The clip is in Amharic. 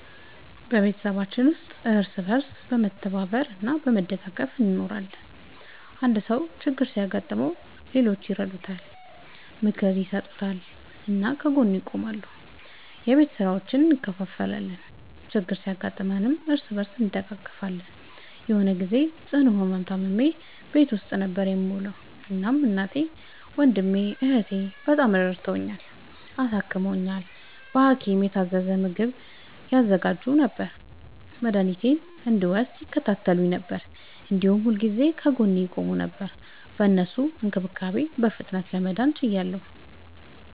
በቤተሰባችን ውስጥ እርስ በርስ በመተባበር እና በመደጋገፍ እንኖራለን። አንድ ሰው ችግር ሲያጋጥመው ሌሎቹ ይረዱታል፣ ምክር ይሰጡታል እና ከጎኑ ይቆማሉ። የቤት ስራዎችን እንከፋፈላለን፣ ችግር ሲያጋጥምም እርስ በርስ እንደጋገፋለን። የሆነ ግዜ ጽኑ ህመም ታምሜ ቤት ውስጥ ነበር የምዉለዉ። እናም እናቴ፣ ወንድሜ፣ እህቴ፣ በጣም ረድተዉኛል፣ አሳክመዉኛል። በሀኪም የታዘዘ ምግብ ያዘጋጁ ነበር፣ መድኃኒቴን እንድወስድ ይከታተሉኝ ነበር፣ እንዲሁም ሁልጊዜ ከጎኔ ይቆሙ ነበር። በእነሱ እንክብካቤ በፍጥነት ለመዳን ችያለሁ።